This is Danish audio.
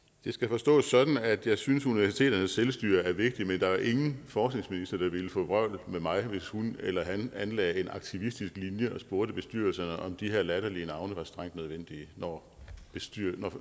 det skal forstås sådan at jeg synes at universiteternes selvstyre er vigtigt men der er ingen forskningsminister der ville få vrøvl med mig hvis hun eller han anlagde en aktivistisk linje og spurgte bestyrelserne om de her latterlige navne var strengt nødvendige når